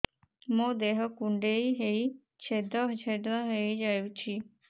ମୋ ଦେହ କୁଣ୍ଡେଇ ହେଇ ଛେଦ ଛେଦ ହେଇ ଯାଉଛି